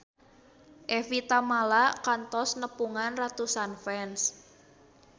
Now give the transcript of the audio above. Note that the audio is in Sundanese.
Evie Tamala kantos nepungan ratusan fans